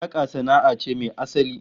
Saka sana'a ce mai asali